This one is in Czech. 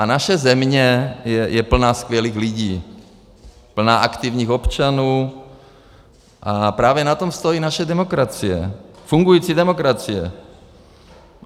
A naše země je plná skvělých lidí, plná aktivních občanů a právě na tom stojí naše demokracie, fungující demokracie.